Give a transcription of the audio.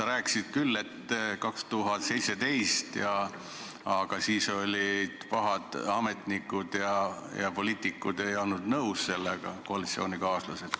Sa rääkisid küll, et 2017 olid pahad ametnikud ja koalitsioonikaaslased ei olnud sellega nõus.